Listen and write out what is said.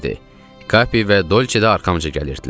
Kapi və Dolçe də arxamca gəlirdilər.